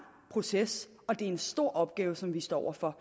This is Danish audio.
proces og det er en stor opgave som vi står over for